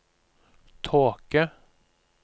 tåke